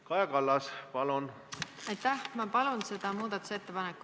Kaja Kallas, palun!